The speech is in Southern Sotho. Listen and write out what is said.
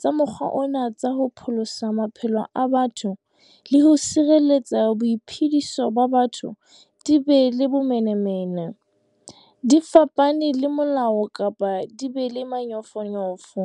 ka mokgwa ona tsa ho pholosa maphelo a batho le ho sireletsa boiphediso ba batho di be le bomenemene, di fapane le molao kapa di be le manyofonyofo.